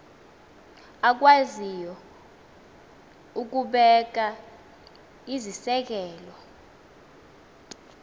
akwaziyo ukubeka iziseko